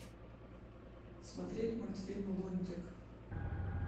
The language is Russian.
смотреть мультфильм лунтик